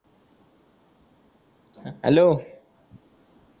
hello